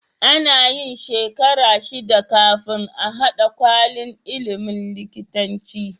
Anayin shekara shida kafin a hada kwalin ilimin likitanci